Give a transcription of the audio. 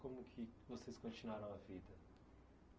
Como que vocês continuaram a vida?